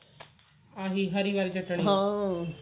ਆਹੀ ਹਰੀ ਆਲੀ ਚਟਨੀ